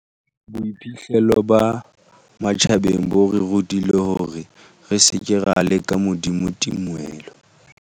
Boiphihlelo ba matjhabeng bo re rutile hore re seke ra leka Modimo tumelo.